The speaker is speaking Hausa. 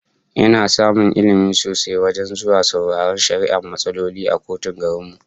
Ina samun Ilmi sosai wajen zuwa sauraron shari'ar matsaloli a kotun garin mu